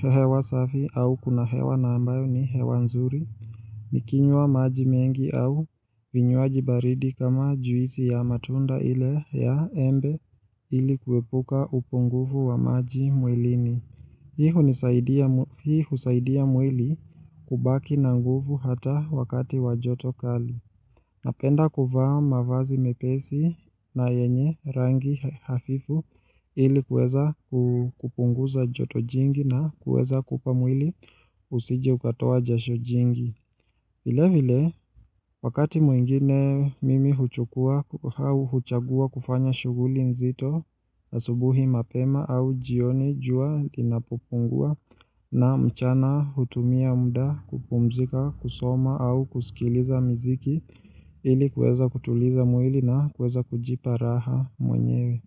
hewa safi au kuna hewa na ambayo ni hewa nzuri Nikinywa maji mengi au vinywaji baridi kama juisi ya matunda ile ya embe ili kuepuka upunguvu wa maji mwilini. Hii husaidia mwili kubaki na nguvu hata wakati w joto kali. Napenda kuvaa mavazi mepesi na yenye rangi hafifu ili kuweza kupunguza joto jingi na kuweza kupa mwili usije ukatoa jasho jingi. Vile vile, wakati mwingine mimi huchukua au huchagua kufanya shuguli nzito asubuhi mapema au jioni jua linapopungua na mchana hutumia muda kupumzika kusoma au kusikiliza miziki ili kuweza kutuliza mwili na kuweza kujipa raha mwenyewe.